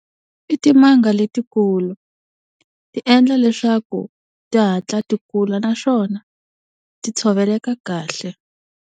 I timanga letikulu, ti endla leswaku ti hatla ti kula naswona ti tshoveleka kahle.